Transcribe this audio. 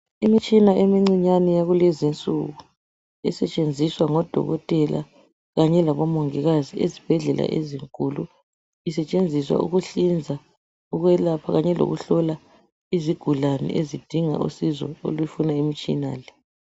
Imitshina emincinyane yakulezi insuku, isetshenziswa ngoDokotela kanye laboMongikazi ezibhedlela ezinkulu, isetshenziswa ukuhlinza, ukwelapha kanye lokuhlola izigulane ezidinga usizo olufuna imitshina le.